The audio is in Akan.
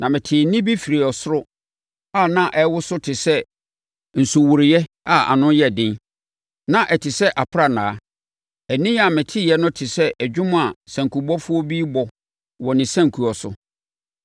Na metee nne bi firi ɔsoro a na ɛworo so te sɛ nsuworoeɛ a ano yɛ den, na ɛte sɛ aprannaa. Ɛnne a meteeɛ no te sɛ dwom a sankubɔfoɔ bi rebɔ wɔ ne sankuo so.